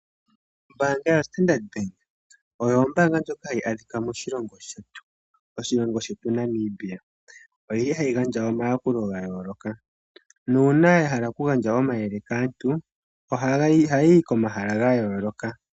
Ombaanga yoStandard Bank Oyo ombaanga ndjoka adhika moshilongo shetu Namibia. Oyili hayi gandja omayakulo gayooloka. Uuna yahala okugandja omayele kaantu, ohayi yi komahala gayooloka.